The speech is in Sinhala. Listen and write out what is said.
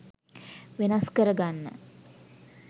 වෙනස් කරගන්න.